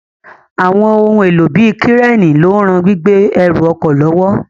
Àwọn ohun èlò bíi kírénì ló ń ran gbígbé ẹrù ọkọ̀ lọ́wọ́